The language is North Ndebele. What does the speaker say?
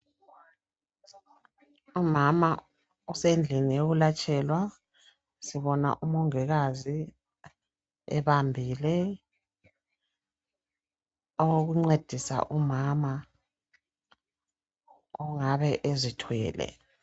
Umama usendlini yokulatshelwa sibona umongikazi ebambile okokuncedisa umama ongabe ezithwele.